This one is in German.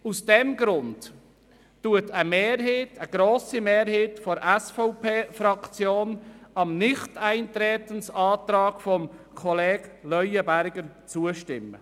Aus diesem Grund stimmt eine grosse Mehrheit der SVPFraktion dem Nichteintretensantrag des Kollegen Leuenberger zu.